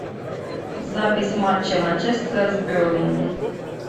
запись матча манчестера с бернли